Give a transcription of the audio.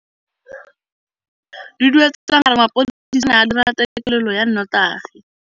Duduetsang a re mapodisa a ne a dira têkêlêlô ya nnotagi.